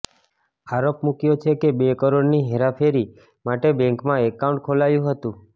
આરોપ મૂક્યો છે કે ર કરોડની હેરાફેરી માટે બેન્કમાં એકાઉન્ટ ખોલાયું હતું